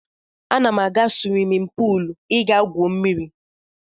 Ana m aga swimin puul ị gaa gwuo mmiri.